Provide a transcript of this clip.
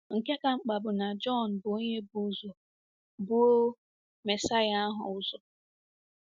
Nke ka mkpa bụ na Jọn bụ onye bu ụzọ buo Mesaya ahụ ụzọ.